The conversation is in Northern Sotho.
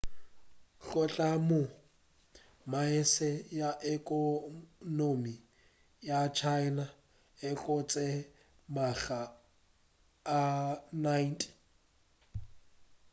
go tloga moo saese ya ekonomi ya china e gotše makga a 90